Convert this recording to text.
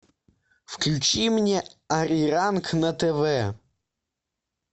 включи мне ариранг на тв